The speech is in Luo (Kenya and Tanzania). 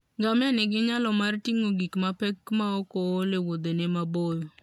Ngamia nigi nyalo mar ting'o gik mapek maok ool e wuodhene maboyo.